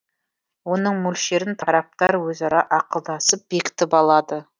оның мөлшерін тараптар өзара ақылдасып бекітіп алады